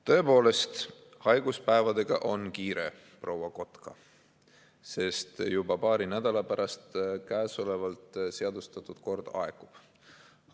Tõepoolest, haiguspäevadega on kiire, proua Kotka, sest juba paari nädala pärast käesolevalt seadustatud kord aegub.